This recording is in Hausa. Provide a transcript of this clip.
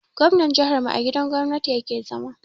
Gwamnan jihar mu a gidan gwamnati ya ke zama